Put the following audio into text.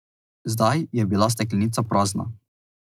Zdaj je bila steklenica prazna.